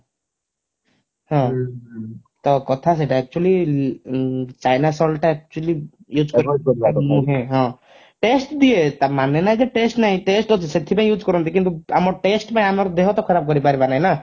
ହଁ ତ କଥା ସେଇଟା actually china salt ଟା actually use କରିବା କଥା ନୁହେଁ ହଁ taste ଦିଏ ତା ମାନେ ନୁହେଁ ଯେ taste ନାହିଁ taste ଅଛି ସେଇଥିପାଇଁ use କରନ୍ତି କିନ୍ତୁ ଆମ taste ପାଇଁ ଆମର ଦେହ ତା ଖରାପ କରିପାରିବ ନାହିଁ ନା